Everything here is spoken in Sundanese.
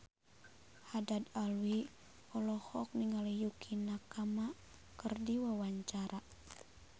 Haddad Alwi olohok ningali Yukie Nakama keur diwawancara